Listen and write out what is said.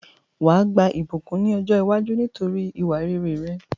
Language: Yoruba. Wàá gba ìbùkún ni ọ̀jọ́ iwájú nítorí ìwà rere rẹ